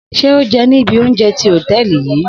Shey o je ni ibi ounje ti hoteeli yii